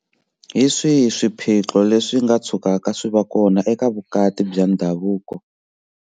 Hi swihi swiphiqo leswi nga tshukaka swi va kona eka vukati bya ndhavuko?